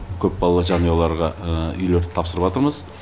көпбалалы жанұяларға үйлерді тапсырыватырмыз